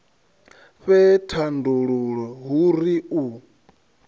fhe thandululo hu ri u